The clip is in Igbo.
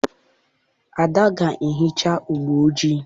Ada ga-ehicha ụgbọ ojii.